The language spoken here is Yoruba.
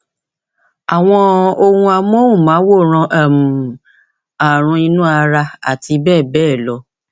àwọn ohun amóhùnmáwòrán um ààrùn inú ara àti bẹẹ bẹẹ lọ